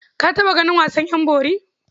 Ka taɓa ganin wasan ƴan bori?